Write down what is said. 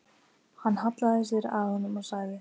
Hann hallaði sér að honum og sagði